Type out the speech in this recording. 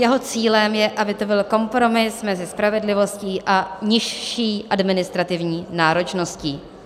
Jeho cílem je, aby to byl kompromis mezi spravedlivostí a nižší administrativní náročností.